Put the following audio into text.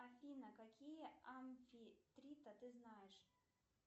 афина какие амфитриты ты знаешь